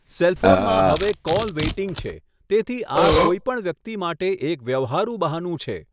Cell ફોનમાં હવે call waiting છે, તેથી આ કોઈ પણ વ્યક્તિ માટે એક વ્યવહારુ બહાનું છે.